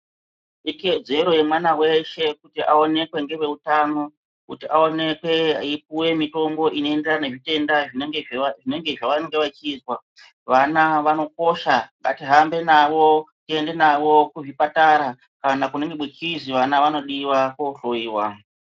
Ikodzero yemwana weshe kuti aonekwe neveutano kuti aonekwe eipiwe mutombo inoenderana nezvitenda zvinenge zvavanenge vachizwa. Vana vanokosha ngatihambe navo kuende navo kuzvipatara kana kunenge kweizwi vana vanodiwako kohloyiwa..